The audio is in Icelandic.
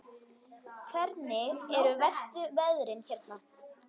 Hvernig eru verstu veðrin hérna?